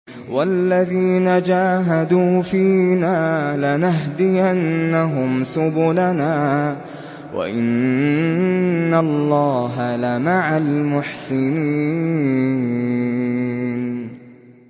وَالَّذِينَ جَاهَدُوا فِينَا لَنَهْدِيَنَّهُمْ سُبُلَنَا ۚ وَإِنَّ اللَّهَ لَمَعَ الْمُحْسِنِينَ